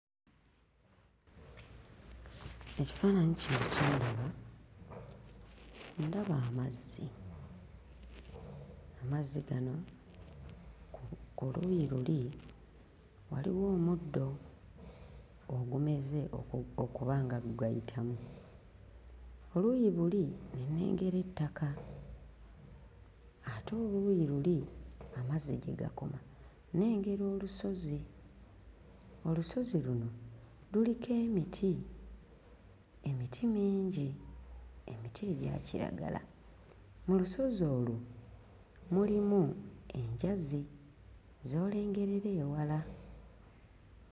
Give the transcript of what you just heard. Ekifaananyi kino kye ndaba, ndaba amazzi. Amazzi gano ku ku luuyi luli waliwo omuddo ogumeze oku... okuba nga gugayitamu. Ku luuyi buli ne nnengera ettaka ate oluuyi luli amazzi gye gakoma nnengera olusozi; olusozi luno luriko emiti, emiti mingi, emiti egya kiragala. Mu lusozi olwo mulimu enjazi z'olengerera ewala.